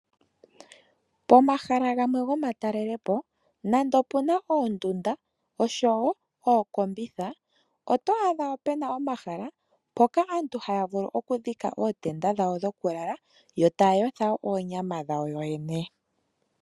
Pomahala gamwe gomatalelepo nande opu na oondunda noshowo ookombitha, oto adha pu na omahala mpoka aantu haya vulu oku dhika ootenda dhawo dhokulala yo taya yotha wo onyama.